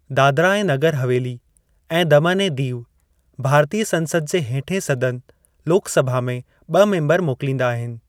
दादरा ऐं नगर हवेली ऐं दमन ऐं दीव भारतीय संसद जे हेठें सदन, लोक सभा, में ब॒ मेंबर मोकलींदा आहिनि।